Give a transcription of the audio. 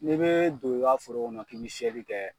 N'i bee don i ka foro kɔnɔ k'i bi seli kɛ